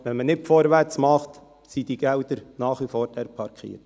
Wenn man nicht vorwärts macht, sind diese Gelder nach wie vor dort parkiert.